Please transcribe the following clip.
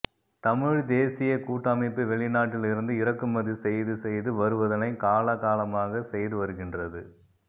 தமிழ் தேசியக் கூட்டமைப்பு வெளிநாட்டில் இருந்து இறக்குமதி செய்து செய்து வருவதனை காலா காலமாக செய்து வருகின்றது